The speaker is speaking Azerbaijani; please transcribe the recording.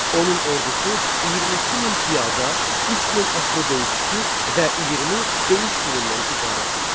Onun ordusu 22000 piyada, 3000 atlı döyüşçü və 20 döyüş filindən ibarət idi.